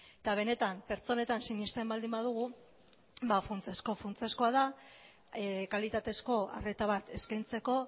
eta benetan pertsonetan sinesten baldin badugu funtsezko funtsezkoa da kalitatezko arreta bat eskaintzeko